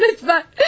Lütfən!